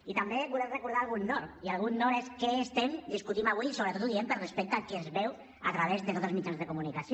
i també volem recordar algun nord i algun nord és què estem discutint avui i sobretot ho diem per respecte a qui ens veu a través de tots els mitjans de comunicació